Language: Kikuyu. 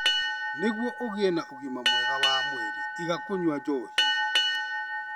Nĩguo ũgĩe na ũgima mwega wa mwĩrĩ, iga kũnyua njohi.